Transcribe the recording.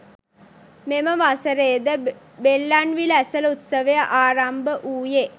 මෙම වසරේ ද බෙල්ලන්විල ඇසළ උත්සවය ආරම්භ වූයේ